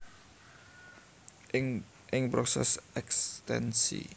Ing proses ekstensi